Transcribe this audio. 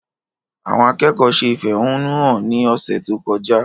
Àwọn akẹ́kọ̀ọ́ ṣe ìfẹ̀hónúhàn ní ọ̀sẹ̀ tó kọjá